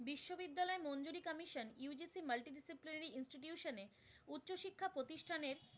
tuition এ উচ্চশিক্ষা প্রতিষ্ঠান এর